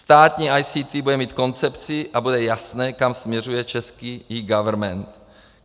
Státní ICT bude mít koncepci a bude jasné, kam směřuje český eGovernment.